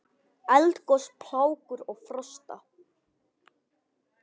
Eldgos, plágur og frosta